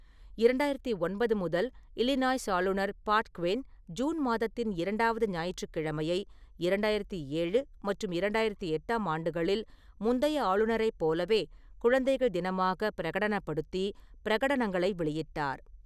இரண்டாயிரத்தி ஒன்பது முதல், இல்லினாய்ஸ் ஆளுநர் பாட் க்வின் ஜூன் மாதத்தின் இரண்டாவது ஞாயிற்றுக் கிழமையை இரண்டாயிரத்தி ஏழு மற்றும் இரண்டாயிரத்தி எட்டாம் ஆண்டுகளில் முந்தைய ஆளுநரைப் போலவே குழந்தைகள் தினமாக பிரகடனப்படுத்தி பிரகடனங்களை வெளியிட்டார்.